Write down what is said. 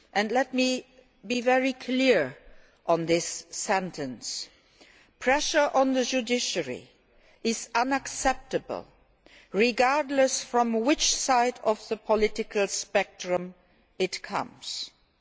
Let me be very clear on the following pressure on the judiciary is unacceptable regardless of which side of the political spectrum it comes from.